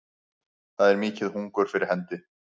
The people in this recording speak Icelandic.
Það er mikið hungur fyrir hendi